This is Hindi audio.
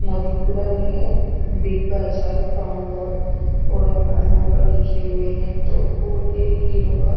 यहाँ दिख रहा नि है बिग्गा चाय फार्म रोड और नदाये नंबर लिखे हुए है दो और ये है रोका--